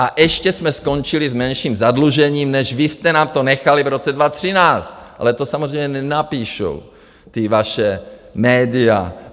A ještě jsme skončili s menším zadlužením, než vy jste nám tu nechali v roce 2013, ale to samozřejmě nenapíšou ta vaše média.